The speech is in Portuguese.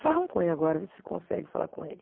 Fala com ele agora, vê se consegue falar com ele.